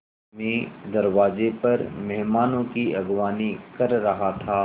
मैं दरवाज़े पर मेहमानों की अगवानी कर रहा था